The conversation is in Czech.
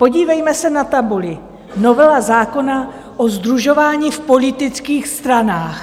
Podívejme se na tabuli: Novela zákona o sdružování v politických stranách.